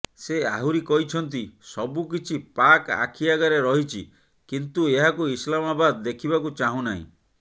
ସେ ଆହୁରି କହିଛନ୍ତି ସବୁକିଛି ପାକ ଆଖି ଆଗରେ ରହିଛି କିନ୍ତୁ ଏହାକୁ ଇସଲାମବାଦ ଦେଖିବାକୁ ଚାହୁଁ ନାହିଁ